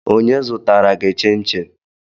Onye zụtara gị chinchin?